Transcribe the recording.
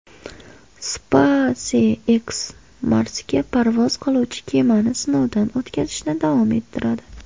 SpaceX Marsga parvoz qiluvchi kemani sinovdan o‘tkazishni davom ettiradi.